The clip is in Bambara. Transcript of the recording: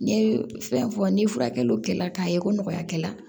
N ye fɛn fɔ ni furakɛli kɛla k'a ye ko nɔgɔya kɛ la